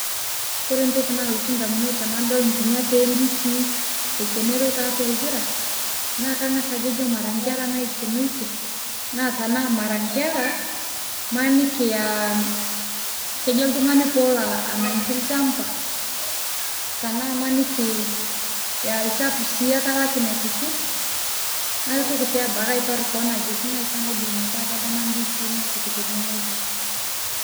Kore ntokii nalotuu damunot tanadol nkinyaat e ndisii ekeneroo te atu lpiraa naa kang'aas ako mara nkeraa naikenotie, naa tana mara nkeraa manikii aa kejoo ltung'ani pee eloo anaing'ikii lchambaa tana imanikii aa lchafuu sii etalakii nepiiki. Aitooki sii aipaar koon ajoo ng'aai sii aitoki eidiim metaa etamaa ndisii nepiik tene ng'ojii.